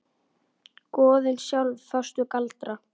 Goðin sjálf fást við galdra.